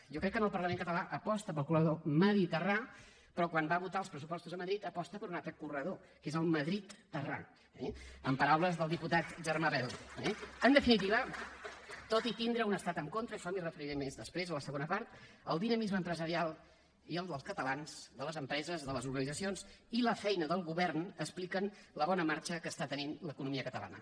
jo crec que el parlament català aposta pel corredor mediterrani però quan va a votar els pressupostos a madrid aposta per un altre corredor que és el madridterrani eh en paraules del diputat germà bel eh en definitiva tot i tindre un estat en contra a això m’hi referiré més després a la segona part el dinamisme empresarial i el dels catalans de les empreses de les organitzacions i la feina del govern expliquen la bona marxa que està tenint l’economia catalana